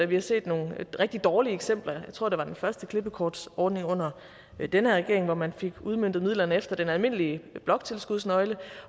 vi har set nogle rigtig dårlige eksempler jeg tror at det var den første klippekortsordning under den her regering hvor man fik udmøntet midlerne efter den almindelige bloktilskudsnøgle